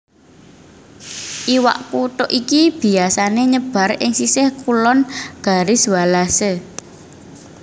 Iwak kutuk iki biyasané nyebar ing sisih kulon Garis Wallace